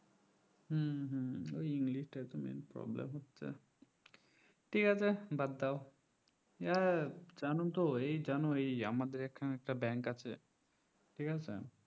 হম হম ওই english টা তো main problem হচ্ছে ঠিক আছে বাদ দাও এ জানো তো জানো এই আমাদের এই আমাদের এইখানে একটা ব্যাংক আছে ঠিকাছে